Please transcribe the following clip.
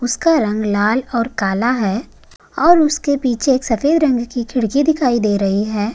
उसका रंग लाल और काला है और उसके पीछे एक सफ़ेद रंग की खिड़की दिखाई दे रही है।